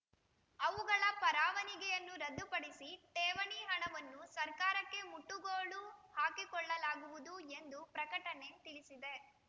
ಅವುಗಳ ಪರವಾನಿಗೆಯನ್ನು ರದ್ದುಪಡಿಸಿ ಠೇವಣಿ ಹಣವನ್ನು ಸರ್ಕಾರಕ್ಕೆ ಮುಟ್ಟುಗೋಲು ಹಾಕಿಕೊಳ್ಳಲಾಗುವುದು ಎಂದು ಪ್ರಕಟಣೆ ತಿಳಿಸಿದೆ